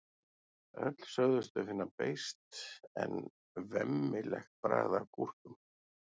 öll sögðust þau finna beiskt eða „vemmilegt“ bragð af gúrkum